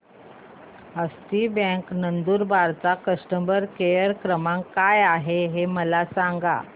हस्ती bank Nandurbar चा customer care क्रमांक काय आहे हे मला सांगा